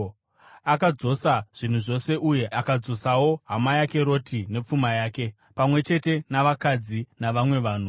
Akadzosa zvinhu zvose uye akadzosawo hama yake Roti nepfuma yake, pamwe chete navakadzi navamwe vanhu.